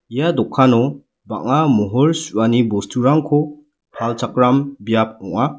ia dokano bang·a mohor su·ani bosturangko palchakram biap ong·a.